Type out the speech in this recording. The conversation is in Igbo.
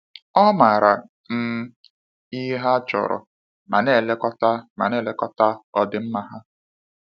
Ọ maara um ihe ha chọrọ ma na-elekọta ma na-elekọta ọdịmma ha.